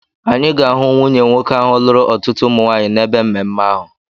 Anyị ga-ahụ nwunye nwoke ahụ lụrụ ọtụtụ umu nwaanyị n'ebe mmemme ahụ.